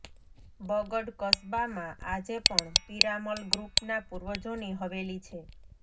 બગડ કસબામાં આજે પણ પિરામલ ગ્રૂપના પૂર્વજોની હવેલી છે